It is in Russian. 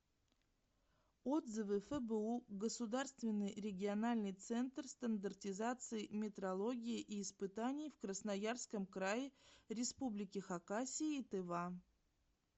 отзывы фбу государственный региональный центр стандартизации метрологии и испытаний в красноярском крае республике хакасия и тыва